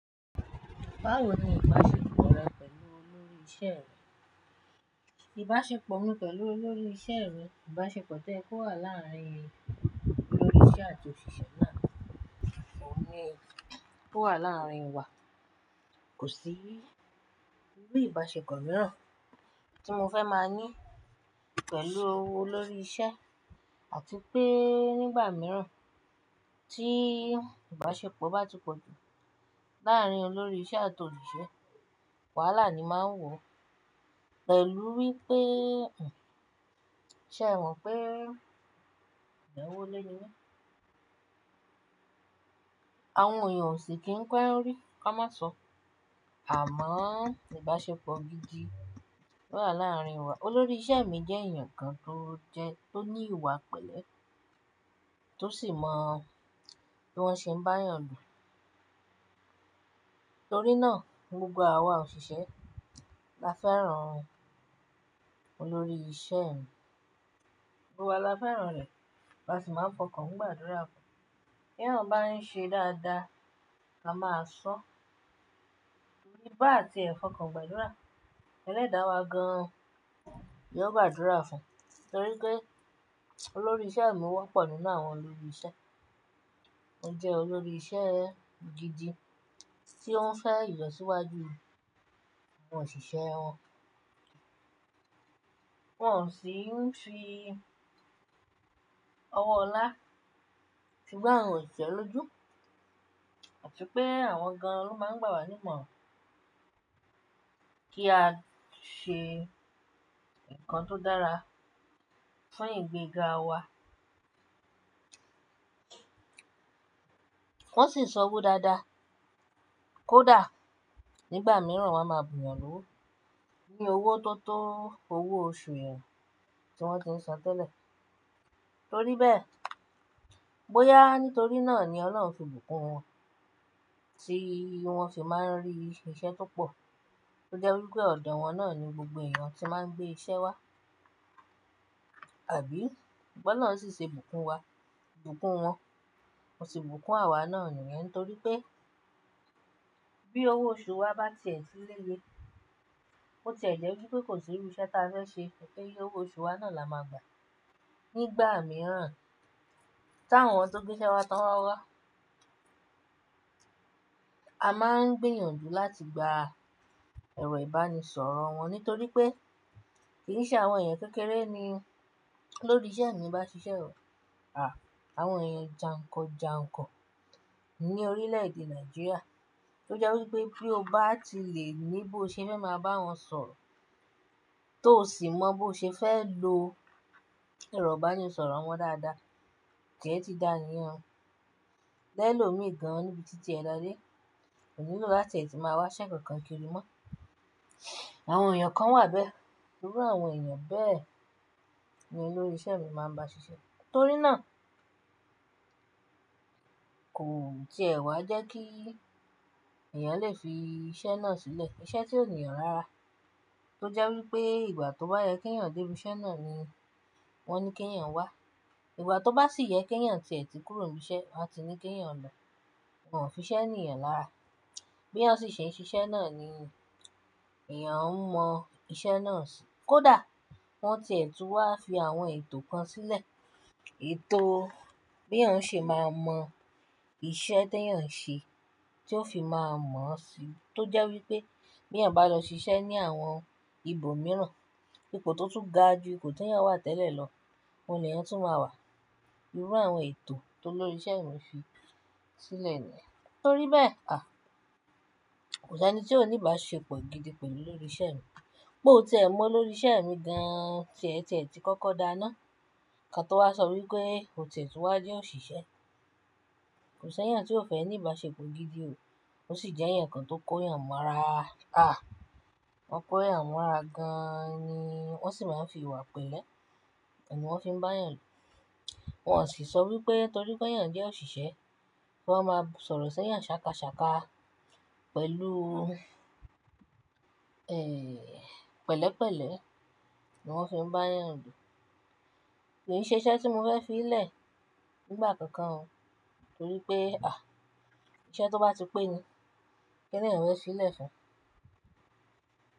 Báwo ni ìbásepọ̀ rẹ pẹ̀lú olórí ìṣe rẹ? Ìbásepọ̀ mi pẹ̀lú olórí ìṣe mi, ìbásepọ̀ tí o ye ki o wà láàrin olórí ìṣe àti òṣìṣẹ́ náà, ni ó wà láàrin wa kò sí. Irú ìbásepọ̀ mìíràn tí mo fẹ́ máa ní pẹ̀lú olórí ìṣe àti pé nígbà mìíràn tí ìbásepọ̀ bá ti pọ̀ jù láàrin olórí ìṣe àti osiṣe, wàhálà ni máa ń wọ̀. Pẹ̀lú wípé, ṣé ẹ̀ mọ̀ pé ìdánwòlé ni? Àwọn èèyàn ò sì kí ń pẹ́ rí, kí a má sọ. Àmọ́ ìbásepọ̀ gidi ló wà láàrin wa. Olórí ìṣe mi jẹ́ èèyàn kan tó jẹ, tó ní ìwà pẹ̀lẹ́ tó sì mọ bí wọ́n ṣe ń bá èèyàn dù. Torí náà gbogbo àwa òṣìṣẹ́ la fẹ́ràn olórí ìṣe mi. Gbogbo wa la fẹ́ràn rẹ̀, a sì máa ń fọkàn gbàdúrà fún. Bí èèyàn bá ń ṣe dáadáa, a máa sọ. Nígbà tí ẹ̀ fọkàn gbàdúrà, ẹlẹ́dàá wa gan-an yóò gbàdúrà fún. Torí pé olórí ìṣe mi wọ́pọ̀ nínú àwọn olórí ìṣe. Ó jẹ́ olórí ìṣe gidi tí ó ń fẹ́ ìlọsíwájú àwọn òṣìṣẹ́ wọn. Wọn ò sì ń fi ọwọ́ ọlá fi gbá awọn òṣìṣẹ́ lójú àti pé àwọn gan-an ló máa ń gbà wá nímọ̀ran kí a ṣe nǹkan tó dára fún ìgbéga wa. Wọn sì ń sọ òwo dáadáa. Kódà nígbà mìíràn wọ́n máa bù yan lówó ní owó tó tó owó oṣù wọn tí wọ́n ti ń san tẹ́lẹ̀. Torí bẹ́ẹ̀, bóyá nítorí náà ni Ọlọ́run fi bùkún wọn tí wọ́n sì máa ń rí iṣẹ́ tó pọ̀. Ó jẹ́ wípé ọ̀dọ̀ wọn náà ni gbogbo èèyàn tí máa ń gbé iṣẹ́ wá, àbí? Bi Olorun náà sì ṣe bùkún wa, bùkún wọn, wọ́n sì bùkún àwa náà nìyẹn. Torí pé bí owó oṣù wa bá tẹ̀ síléye, ó tẹ̀lé wípé kò sí irú iṣẹ́ tí a fẹ́ ṣe kí owó oṣù wa náà la máa gbà. Nígbà mìíràn, tí àwọn tó gbé iṣẹ́ wá tan wa wá, a máa ń gbiyànjú láti gba ẹ̀rọ ìbánisọ̀rọ̀ wọn. Nítorí pé kì í ṣe àwọn èèyàn kékeré ni olórí ìṣe mi bá ń ṣiṣẹ́ o. Àwọn èèyàn jàǹkọjàǹkọ ní orílẹ̀ èdè Nàìjíríà. Ó jẹ́ wípé bí o bá ti lè ní bí o ṣe fẹ́ máa bá wọn sọ̀rọ̀, tó sì mọ bí o ṣe fẹ́ lo ẹ̀rọ ìbánisọ̀rọ̀ wọn dáadáa, tíẹ̀ ti dá ni iyan. Ẹ̀lò omi gan-an níbi títí ẹ dá dé, kò nílò láti máa wá ise kankan kiri mọ́. Àwọn èèyàn kan wà bẹ́ẹ̀. Irú àwọn èèyàn bẹ́ẹ̀ ni olórí ìṣe mi máa ń bá ṣiṣẹ́. Torí náà kò ti è wá jẹ́ kí èèyàn lè fi iṣẹ́ náà sílẹ̀. Iṣẹ́ tí ò níyàn rárá. Ó jẹ́ wípé ìgbà tó bá yẹ kí èèyàn dé ibi iṣẹ́ náà ni wọ́n ní kí èèyàn wá. Ìgbà tó bá sì yẹ kí èèyàn tẹ̀tí kúrò níbi iṣẹ́, a ti ní kí èèyàn lọ. Wọn ò fi iṣẹ́ ni yan lárá. Bí èèyàn si ṣe ń ṣiṣẹ́ náà ni èèyàn mọ iṣẹ́ náà sì. Kódà wọ́n tiẹ̀ tù wá fi àwọn ètò kan sílẹ̀. Ètò bí èèyàn ṣe máa mọ iṣẹ́ tí èèyàn ń ṣe, tí ó fi máa mọ̀ sí i. Tó jẹ́ wípé bí èèyàn bá lọ ṣiṣẹ́ ní àwọn ibòmíràn, ipò tó tún ga jù ipò tí èèyàn wà tẹ́lẹ̀ lọ, òun ni èèyàn tún máa wà. Irú àwọn ètò tólórí ìṣe mi fi sílẹ̀ nìyẹn. Torí bẹ́ẹ̀ à, kò sí ẹni tí ó ní ìbásepọ̀ gidi pẹ̀lú olórí ìṣe mi. Bó ti ẹ mọ olórí ìṣe mi gan-an, tie ti kọ́kọ́ dá ná. Ìkàn tó wá sọ wípé ó ti e tù wá jẹ́ òṣìṣẹ́. Kò sí èèyàn tí ó fẹ́ ní ìbásepọ̀ gidi ò. Ó sì jẹ́ ẹ̀yàn kan tó kó èèyàn mọ́ ara. À, wọ́n kó èèyàn mọ́ ara gan-an ni wọ́n sì máa ń fi ìwà pẹ̀lẹ́ ni wọ́n fi ń bá èèyàn dù. Wọn ò sì sọ wípé torí pé èèyàn jẹ́ òṣìṣẹ́, kí wọ́n máa sọ̀rọ̀ sí èèyàn ṣàkàṣàkà pẹ̀lú, pẹ̀lẹ́pẹ̀lẹ́ ni wọ́n fi ń bá èèyàn dù. Kò sí iṣẹ́ tí mo fẹ́ fi í lẹ̀ nígbà kankan o. Torí pé iṣẹ́ tó bá ti pé ni kíni èèyàn fẹ́ fi í lẹ̀ fún?